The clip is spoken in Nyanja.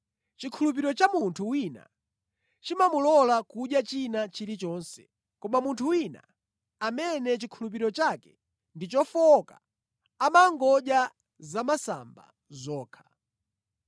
Chikhulupiriro cha munthu wina chimamulola kudya china chilichonse koma munthu wina, amene chikhulupiriro chake ndi chofowoka, amangodya zamasamba zokha.